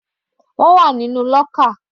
Wọ́n wà nínú lọ́kà.